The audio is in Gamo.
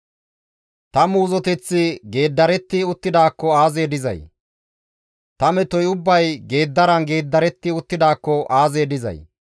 «Ta muuzoteththi geeddaretti uttidaakko aazee dizay! ta metoy ubbay geeddaran geeddaretti uttidaakko aazee dizay!